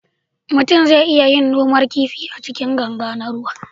mutum zai iya yin gonar kifi A cikin ganga na ruwa